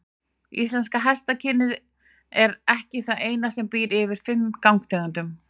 Íslenska hestakynið er ekki það eina sem býr yfir fimm gangtegundum.